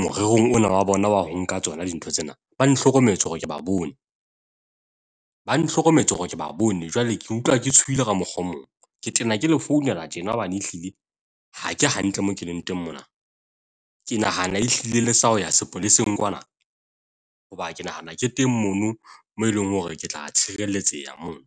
morerong ona wa bona wa ho nka tsona dintho tsena, ba nhlokometse hore ke ba bone. Ba nhlokometse hore ke ba bone. Jwale ke utlwa ke tshohile ka mokgwa o mong. Ke tena ke le founela tjena hobane ehlile ha ke hantle moo ke leng teng mona. Ke nahana ehlile le sa ho ya sepoleseng kwana hoba ke nahana ke teng mono mo eleng hore ke tla tshireletseha moo.